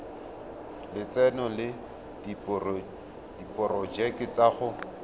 lotseno le diporojeke tsa go